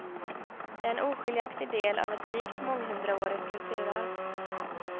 De är en oskiljaktig del av ett rikt månghundraårigt kulturarv.